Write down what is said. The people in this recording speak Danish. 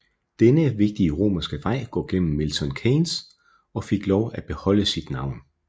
Denne vigtige romerske vej går gennem Milton Keynes og fik lov at beholde sit navn